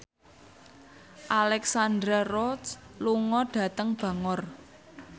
Alexandra Roach lunga dhateng Bangor